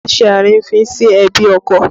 Má ṣe àrífín sí ẹbí ọkọ!